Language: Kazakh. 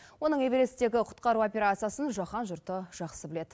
оның эвересттегі құтқару операциясын жаһан жұрты жақсы біледі